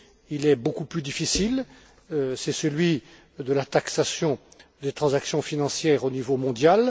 Il est beaucoup plus difficile, c'est celui de la taxation des transactions financières au niveau mondial.